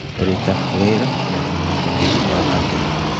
Ruta wĩra na ũnyitanĩri wa angĩ.